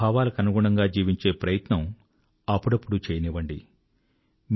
ఆ భావాలకనుగుణంగా జీవించే ప్రయత్నమూ అప్పుడప్పుడూ చేయనివ్వండి